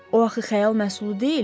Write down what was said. O axı xəyal məhsulu deyil?